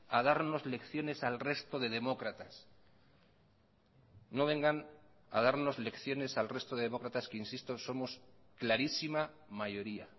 a darnos lecciones al resto de demócratas no vengan a darnos lecciones al resto de demócratas que insisto somos clarísima mayoría